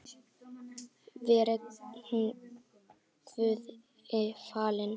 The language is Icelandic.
Veri hún Guði falin.